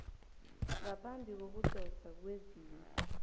ngaphambi kokudoswa kwezinye